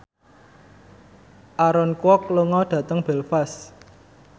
Aaron Kwok lunga dhateng Belfast